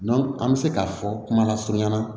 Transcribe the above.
an bɛ se k'a fɔ kumalasurunya